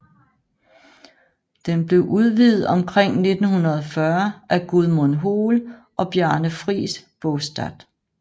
Den blev udvidet omkring 1940 af Gudmund Hoel og Bjarne Friis Baastad